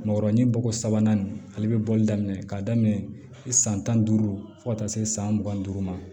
Mɔgɔrɔnin bɔ sabanan nin ale bɛ bɔli daminɛ ka daminɛ san tan duuru fo ka taa se san mugan ni duuru ma